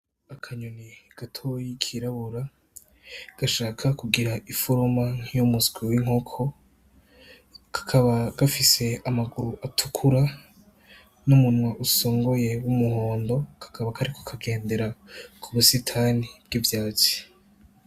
Akanyoni gatoyi kirabura gashaka kugira iforoma nkiy' umuswi w'inkoko, kakaba gafise amaguru atukura n'umunwa usongoye w'umuhondo. Kakaba kariko kagendera ku busitani bw'ivyatsi.